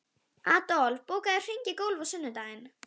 Adolf, bókaðu hring í golf á sunnudaginn.